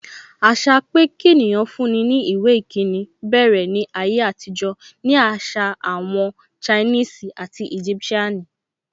Àṣà pé kí ènìyàn fún ní ìwé ìkíni bẹ̀rẹ̀ ní ayé àtijọ́ ni àṣà àwọn Chinese and Egyptian nu.